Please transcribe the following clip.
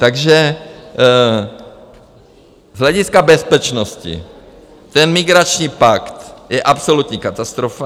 Takže z hlediska bezpečnosti ten migrační pakt je absolutní katastrofa.